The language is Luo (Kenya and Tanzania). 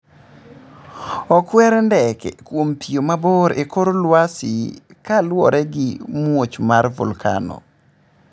Okwer ndeke kwom piyo mabor e kor lwasi ka luore gi muoch mar Volkano